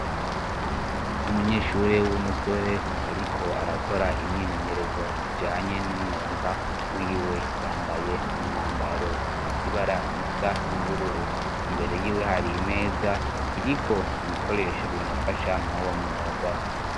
Umunyeshuri w'umusore ariko arakora imyimenyerezo ijanye n'umwuga wiwe yambaye umwambaro ufise ibara lisa ry'ubururu imbere yiwe hari imeza iriko ibikoresho bimufasha muruwo mwuga.